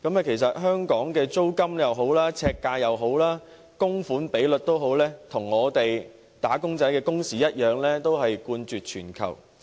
其實在香港，不論是租金、樓宇呎價、供款比例等，均與"打工仔"的工時一樣冠絕全球。